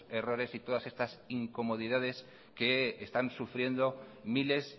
errores y todas estas incomodidades que están sufriendo miles